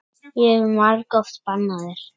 Ég hef margoft bannað þér.